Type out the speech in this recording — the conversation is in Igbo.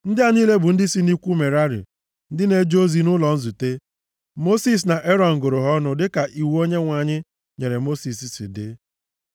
Ndị a niile bụ ndị si nʼikwu Merari ndị na-eje ozi nʼụlọ nzute. Mosis na Erọn gụrụ ha ọnụ dịka iwu Onyenwe anyị nyere Mosis si dị.